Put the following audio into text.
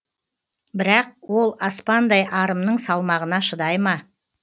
бірақ ол аспандай арымның салмағына шыдай ма